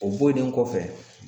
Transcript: O bɔlen kɔfɛ